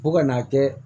Fo ka n'a kɛ